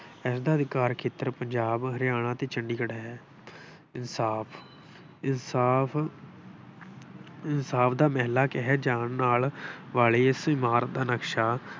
ਇਸਦਾ ਅਧਿਕਾਰ ਖੇਤਰ ਪੰਜਾਬ ਹਰਿਆਣਾ ਅਤੇ ਚੰਡੀਗੜ੍ਹ ਹੈ। ਇਨਸਾਫ ਇਨਸਾਫ ਇਨਸਾਫ ਦਾ ਮਹਿਲਾਂ ਕਿਹਾ ਜਾਣ ਨਾਲ ਵਾਲੀ ਇਸ ਇਮਾਰਤ ਦਾ ਨਕਸ਼ਾ